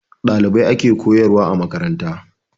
Ɗalibai ake koyarwa a makaranta.